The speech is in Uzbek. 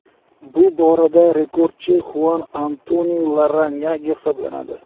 Bu borada rekordchi Xuan Antoni Larranyage hisoblanadi.